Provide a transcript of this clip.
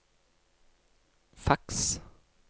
faks